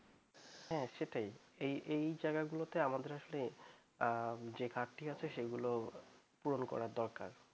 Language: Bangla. হ্যাঁ সেটাই। এই জায়গাগুলোতে আমাদের আসলে যে ঘাটতি আছে সেগুলো পূরণ করার দরকার